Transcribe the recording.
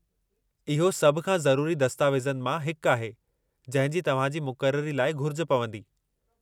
इहो सभ खां ज़रूरी दस्तावेज़नि मां हिकु आहे जंहिं जी तव्हां जी मुक़ररी लाइ घुरिज पवंदी।